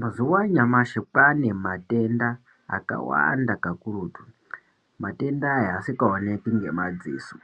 Mazuwa anyamashi kwane matenda akawanda kakurutu matenda aya asikaonekwi ngemadziso,